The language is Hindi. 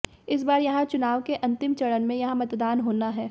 इस बार यहां चुनाव के अंतिम चरण में यहां मतदान होना है